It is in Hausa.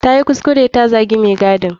Tayi kuskure ta zagi mai gadin.